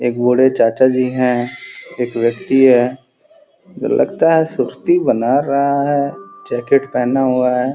एक बूढ़े चाचा जी है। एक व्यक्ति है। लगता है सूर्ति बना रहा है। जैकेट पहना हुआ है।